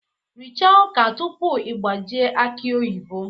Richaa ọka tupu ị gbajie aki oyibo!